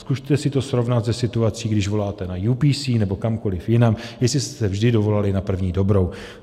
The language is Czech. Zkuste si to srovnat se situací, když voláte na JPC nebo kamkoliv jinam, jestli jste se vždy dovolali na první dobrou.